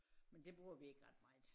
Men det bruger vi ikke ret meget